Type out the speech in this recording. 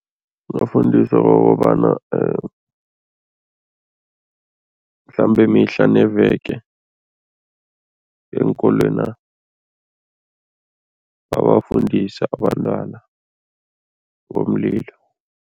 Bafundiswa kokobana mhlambe mihla neveke eenkolwena babafundise abantwana ngomlilo.